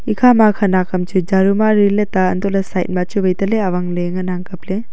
e khama khanak kam chu jaru mari le ta anto le side ma chu wai tele awangle ngan ang kaple.